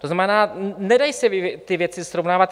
To znamená, nedají se ty věci srovnávat.